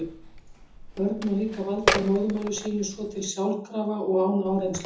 Börn ná líka valdi á móðurmáli sínu svo til sjálfkrafa og án áreynslu.